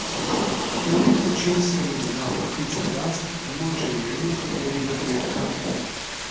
Na neki način sem bila ptica jaz in moje življenje je bilo kletka.